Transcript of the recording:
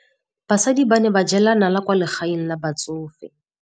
Basadi ba ne ba jela nala kwaa legaeng la batsofe.